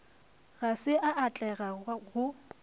ga se a atlega go